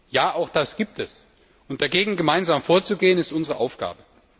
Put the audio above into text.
Ja, auch das gibt es, und dagegen gemeinsam vorzugehen, ist unsere Aufgabe.